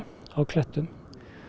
á klettum